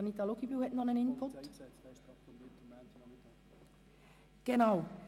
Anita Luginbühl hat noch einen Input.